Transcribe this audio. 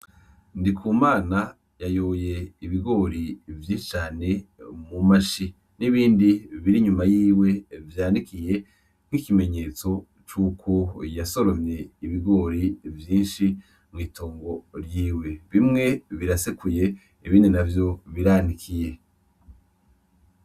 Ndikumana yayoye ibigori vyinshi cane mu mashi, n’ibindi biri inyuma yiwe vyanikiye nk’ikimeneyetso cuko yasoromye ibigori vyinshi mw’itongo ryiwe, bimwe birasekuye ibindi biranikiye .